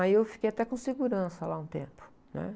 Aí eu fiquei até com um segurança lá, um tempo, né?